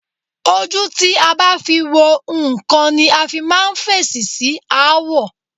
Ojú tí a bá fi wo nǹkan ni a fi máa ń fèsì sí aáwọ̀.